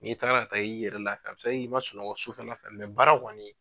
N'i taara ka taa i yɛrɛ lafiya i ma sunɔgɔ su fɛ baara kɔni.